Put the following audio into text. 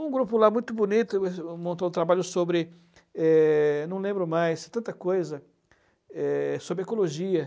Um grupo lá muito bonito montou um trabalho sobre, é, não lembro mais, é, tanta coisa, sobre ecologia.